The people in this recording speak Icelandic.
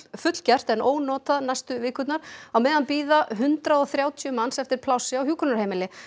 fullgert en ónotað næstu vikurnar á meðan bíða hundrað og þrjátíu manns eftir plássi á hjúkrunarheimili